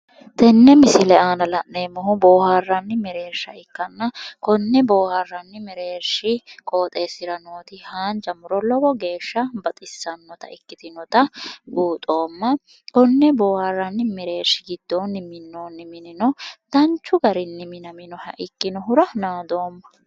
tenne misile aana la'neemmohu boohaaranni mereersha ikkanna konne boohaarranni meereeshi qooxeessira nooti haanja muro lowo geeshsha baxissannota ikkitinota buuxoomma konne boohaarranni mereershi giddoonni minoonni minino danchu garinni minoonniha ikkinohura naadoomma.